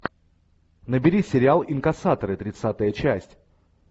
набери сериал инкассаторы тридцатая часть